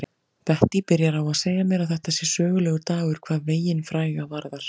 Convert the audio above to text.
Bettý byrjar á að segja mér að þetta sé sögulegur dagur hvað veginn fræga varðar.